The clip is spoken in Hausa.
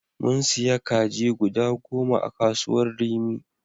Mun siya kaji goda goma a kasuwar rimi.